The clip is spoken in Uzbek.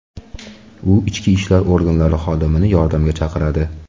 U ichki ishlar organlari xodimini yordamga chaqiradi.